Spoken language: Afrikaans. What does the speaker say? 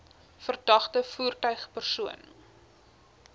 verdagte voertuig persoon